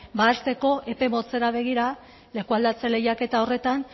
hasteko epe motzera begira leku aldatze lehiaketa horretan